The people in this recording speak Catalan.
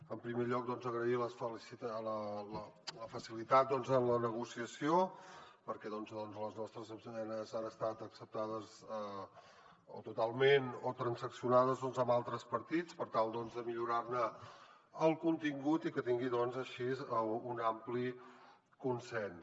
en primer lloc agrair la facilitat en la negociació perquè les nostres esmenes han estat acceptades o totalment transaccionades amb altres partits per tal de millorar ne el contingut i que tingui així un ampli consens